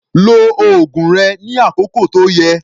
Lo oògùn rẹ ní àkókò tó yẹ